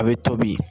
A bɛ tobi